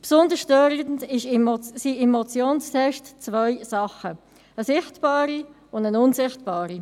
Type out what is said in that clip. Besonders störend sind im Motionstext zwei Sachen, eine sichtbare und eine unsichtbare.